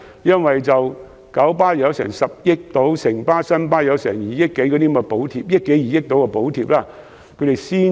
因為九巴獲發約10億元補貼，城巴和新巴亦有約2億元補貼，所以才可增加班次。